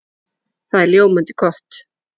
Það er ljómandi gott!